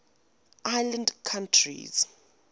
island countries